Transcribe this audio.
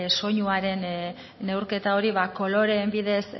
soinuaren neurketa hori koloreen bidez